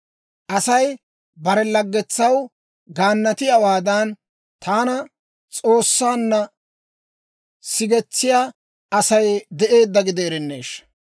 Asay bare lagetsaw gaanatiyaawaadan, taana S'oossaanna sigetsiyaa Asay de'eedda gideerenneeshsha!